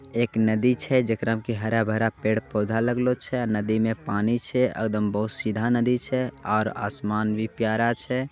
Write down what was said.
एक नदी छै जेकरा मे के हरा-भरा पेड़-पौधा लग्लो छई। और नदी मे पानी छै। एडम बहोत सीधा नदी छई। और आसमान भी प्यारा छै।